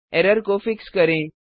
error को fix करें